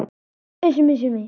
Konráð Hall.